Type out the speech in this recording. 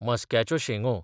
मस्काच्यो शेंगो